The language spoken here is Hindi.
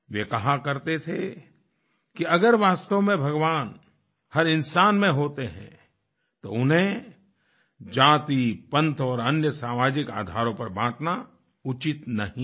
वे कहा करते थे कि अगर वास्तव में भगवान हर इंसान में होते हैं तो उन्हें जाति पंथ और अन्य सामाजिक आधारों पर बांटना उचित नहीं है